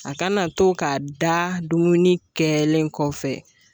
A kana to ka da dumuni kɛlen kɔfɛ